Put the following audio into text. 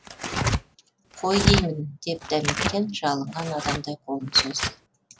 қой деймін деп дәметкен жалынған адамдай қолын созды